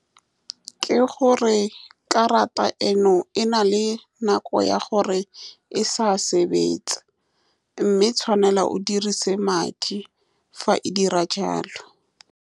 Ke gore karata eno e na le nako ya gore e sa sebetsa, mme o tshwanela o dirise madi fa e dira jalo.